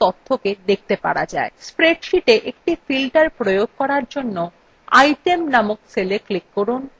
spreadsheetএকটি filter প্রয়োগ করার জন্য item named cella click করুন